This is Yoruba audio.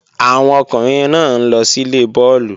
Àwọn ọkùnrin náà ń lọ síle bọ́ọ̀lù